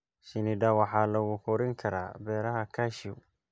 Shinnida waxaa lagu korin karaa beeraha cashew.